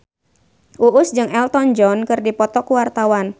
Uus jeung Elton John keur dipoto ku wartawan